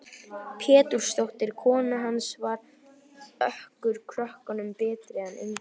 Pétursdóttir, kona hans, var okkur krökkunum betri en engin.